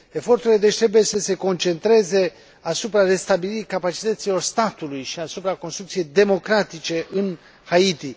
Eforturile trebuie, deci, să se concentreze asupra restabilirii capacităților statului și asupra construcției democratice în Haiti.